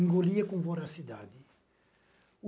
Engolia com voracidade.